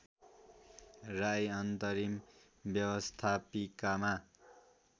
राई अन्तरिम व्यवस्थापिकामा